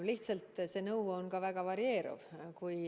Lihtsalt see nõu on väga varieeruv.